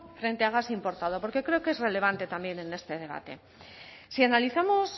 frente a gas importado porque creo que es relevante también en este debate si analizamos